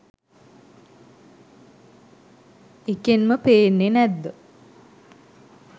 එකෙන්ම පෙන්නේ නැත්ද